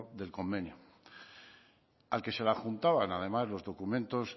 del convenio al que se le adjuntaban además los documentos